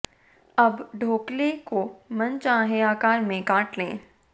अब ढ़ोकले को मन चाहे आकर में काट लें